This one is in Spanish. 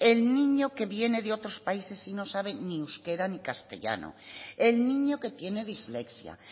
el niño que viene de otros países y no sabe ni euskera ni castellano el niño que tiene dislexia